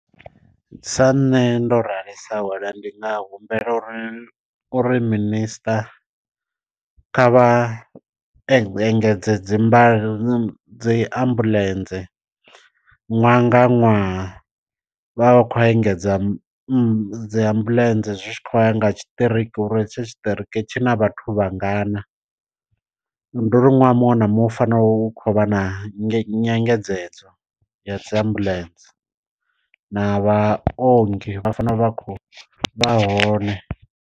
Sa nṋe ndo rali sa Awelani ndi nga humbela uri uri minister kha vha engedze dzi mbalo dzi ambuḽentse, ṅwaha nga ṅwaha vha vha vha khou engedza dzi ambuḽentse zwi tshi khou ya nga tshiṱiriki uri hetsho tshitiriki tshi na vhathu vhangana. Ndi uri ṅwaha muṅwe na muṅwe hu fanela hu khou vha na nyengedzedzo ya dzi ambuḽentse, na vhaongi vha fanela u vha vha khou vha hone.